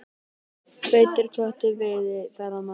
Feitur köttur veiði ferðamenn